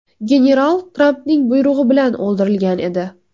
General Trampning buyrug‘i bilan o‘ldirilgan edi.